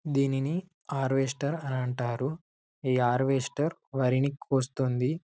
దీనిని హార్వెస్టర్ అని అంటారు ఈ హార్వెస్టర్ వరి ని కోస్తుంది